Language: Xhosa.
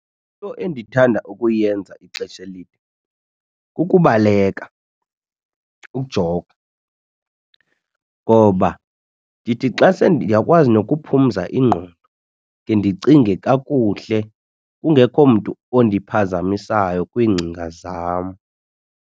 Into endithanda ukuyenza ixesha elide kukubaleka ukujoga ngoba ndithi xa ndiyakwazi nokuphumza ingqondo ndike ndicinge kakuhle kungekho mntu ondiphazamisayo kwiingcinga zam.